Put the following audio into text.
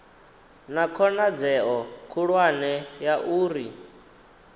na khonadzeo khulwane ya uri